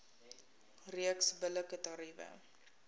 reeks billike tariewe